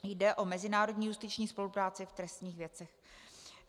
Jde o mezinárodní justiční spolupráci v trestních věcech.